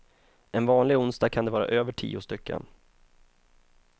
En vanlig onsdag kan det vara över tio stycken.